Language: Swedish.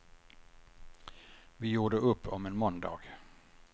Vi gjorde upp om en måndag.